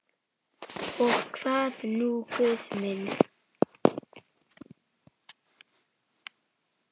Og hvað nú Guð minn?